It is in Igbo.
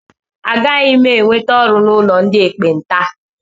Agaghị m enweta ọrụ n'ụlọ ndị ekpenta.